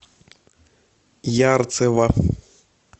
ярцево